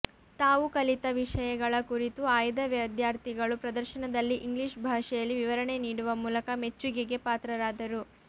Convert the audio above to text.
ತಾವು ಕಲಿತ ವಿಷಯಗಳ ಕುರಿತು ಆಯ್ದ ವಿದ್ಯಾರ್ಥಿಗಳು ಪ್ರದರ್ಶನದಲ್ಲಿ ಇಂಗ್ಲಿಷ್ ಭಾಷೆಯಲ್ಲೇ ವಿವರಣೆ ನೀಡುವ ಮೂಲಕ ಮೆಚ್ಚುಗೆಗೆ ಪಾತ್ರರಾದರು